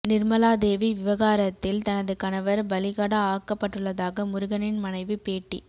நிர்மலாதேவி விவகாரத்தில் தனது கணவர் பலிகடா ஆக்கப்பட்டுள்ளதாக முருகனின் மனைவி பேட்டி